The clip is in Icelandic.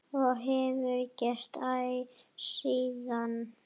Og hefur gert æ síðan.